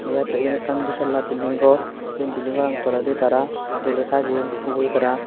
deajattey iben ekkan ditalla belding gor se belding gorano toledi tara doley sajeyon ugure tara.